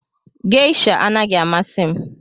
Geisha anaghị amasị m